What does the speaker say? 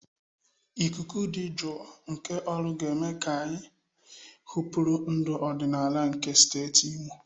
Ikuku dị jụụ nke Oru ga-eme ka anyị hụpere ndụ ọdịnala nke steeti Imo.